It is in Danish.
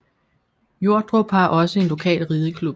Jordrup har også en lokal rideklub